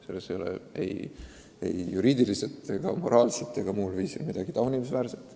Selles pole ei juriidiliselt, moraalselt ega muus mõttes midagi taunimisväärset.